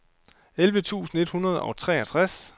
elleve tusind et hundrede og treogtres